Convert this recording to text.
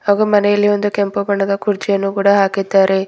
ಹಾಗು ಮನೆಯಲ್ಲಿ ಒಂದು ಕೆಂಪು ಬಣ್ಣದ ಕುರ್ಚಿಯನ್ನು ಕೂಡ ಹಾಕಿದ್ದಾರೆ.